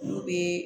N'u bɛ